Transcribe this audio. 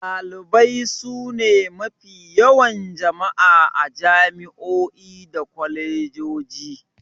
Dalibai sune mafi yawan jama'a a jami'o'i da kwalejoji.